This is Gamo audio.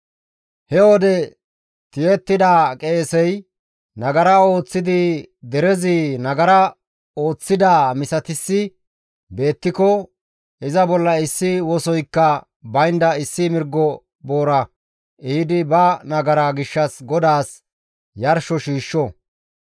«He wode tiyettida qeesey nagara ooththidi derezi nagara ooththidaa misatissi beettiko iza bolla issi wosoykka baynda issi mirgo boora ehidi ba nagaraa gishshas GODAAS yarsho shiishsho.